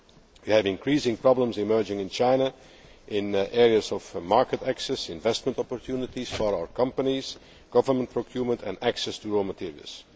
for free. We have increasing problems emerging in China in areas of market access, investment opportunities for our companies, government procurement and access to raw materials.